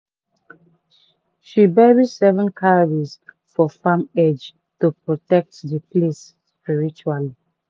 she bury seven cowries for farm edge to protect the place spiritually.